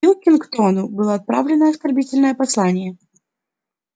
пилкингтону было отправлено оскорбительное послание